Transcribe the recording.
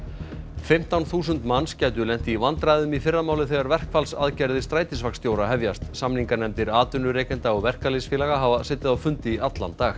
fimmtán þúsund manns gætu lent í vandræðum í fyrramálið þegar verkfallsaðgerðir hefjast samninganefndir atvinnurekenda og verkalýðsfélaga hafa setið á fundi í allan dag